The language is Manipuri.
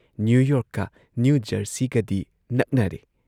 ꯅ꯭ꯌꯨ ꯌꯣꯔꯛꯀ ꯅ꯭ꯌꯨ ꯖꯔꯁꯤꯒꯗꯤ ꯅꯛꯅꯔꯦ ꯫